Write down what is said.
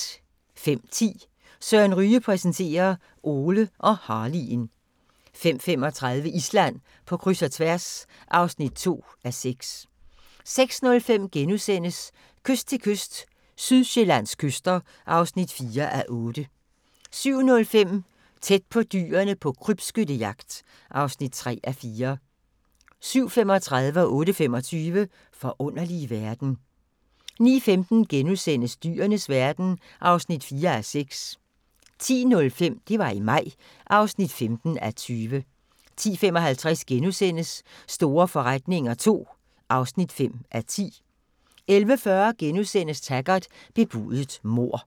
05:10: Søren Ryge præsenterer: Ole og Harley'en 05:35: Island på kryds og tværs (2:6) 06:05: Kyst til kyst – Sydsjællands kyster (4:8)* 07:05: Tæt på dyrene på krybskyttejagt (3:4) 07:35: Forunderlige verden 08:25: Forunderlige verden 09:15: Dyrenes verden (4:6)* 10:05: Det var i maj (15:20) 10:55: Store forretninger II (5:10)* 11:40: Taggart: Bebudet mord *